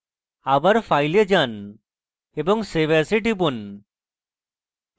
আবার file এ যান এবং save as এ টিপুন